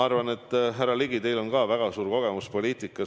Härra Ligi, teil on väga suur kogemus poliitikas.